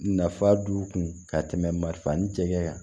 Nafa don u kun ka tɛmɛ marifa ni cɛkɛ kan